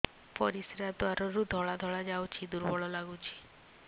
ପରିଶ୍ରା ଦ୍ୱାର ରୁ ଧଳା ଧଳା ଯାଉଚି ଦୁର୍ବଳ ଲାଗୁଚି